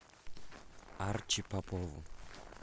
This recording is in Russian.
арчи попову